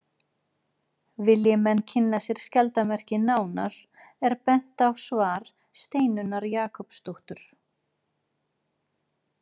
Vilji menn kynna sér skjaldarmerkið nánar er bent er á svar Steinunnar Jakobsdóttur.